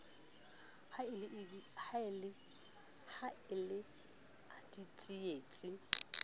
ha e le a ditsietsi